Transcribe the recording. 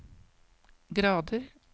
grader